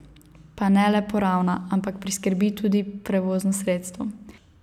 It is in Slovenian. Pa ne le poravna, ampak priskrbi tudi prevozno sredstvo.